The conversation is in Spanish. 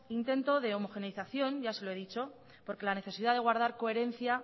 intento de homogeneización ya se lo he dicho porque la necesidad de guardar coherencia